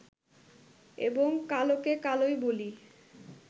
এবং কালোকে কালোই বলি